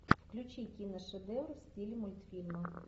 включи киношедевр в стиле мультфильма